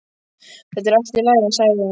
Það er allt í lagi sagði hún.